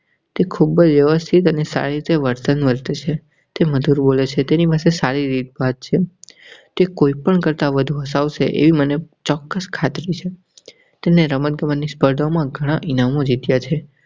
તે ખુબ જ વેવસ્થિત અને સારી રીતે વર્તે છે. તે મધુર બોલે છે તેની રીતે સારી રીત ભાત છે. તે કોઈ પણ કરતા વધુ હસાવસે એવી મને ચોક્કસ ખાતરી છે. તેને રમત ગમત ની સ્પર્ધા માં ખુબ જ ઇનામો જીત્યા છે.